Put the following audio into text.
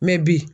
Mɛ bi